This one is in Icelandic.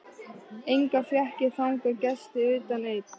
Enga fékk ég þangað gesti utan einn.